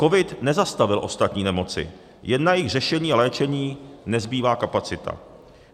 COVID nezastavil ostatní nemoci, jen na jejich řešení a léčení nezbývá kapacita.